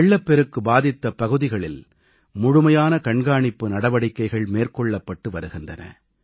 வெள்ளப்பெருக்கு பாதித்த பகுதிகளில் முழுமையான கண்காணிப்பு நடவடிக்கைகள் மேற்கொள்ளப்பட்டு வருகின்றன